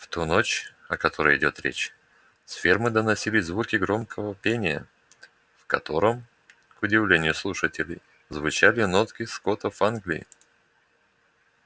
в ту ночь о которой идёт речь с фермы доносились звуки громкого пения в котором к удивлению слушателей звучали нотки скотов англии